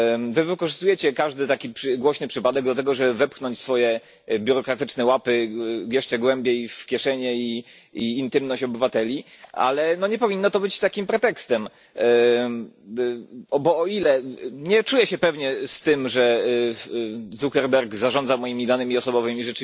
Wy wykorzystujecie każdy taki głośny przypadek do tego, żeby wepchnąć swoje biurokratyczne łapy jeszcze głębiej w kieszenie i intymność obywateli, ale nie powinno to być takim pretekstem, bo o ile rzeczywiście nie czuję się pewnie z tym, że Zuckerberg zarządza moimi danymi osobowymi,